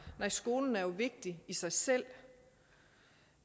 skolen er jo vigtig i sig selv